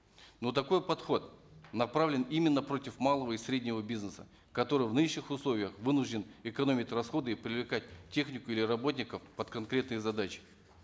но такой подход направлен именно против малого и среднего бизнеса который в нынешних условиях вынужден экономить расходы и привлекать технику или работников под конкретные задачи